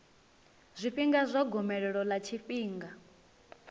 zwifhinga zwa gomelelo ḽa tshifhinga